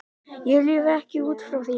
Ég lifi ekki út frá því.